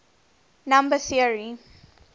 number theory